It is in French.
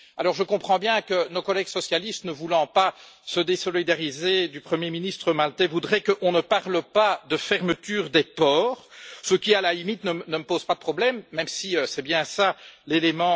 Je comprends bien que nos collègues socialistes, ne voulant pas se désolidariser du Premier ministre maltais, voudraient qu'on ne parle pas de fermeture des ports ce qui, à la limite, ne me pose pas de problème, même si c'est bien cela l'élément déclencheur alors on pourrait reformuler le titre.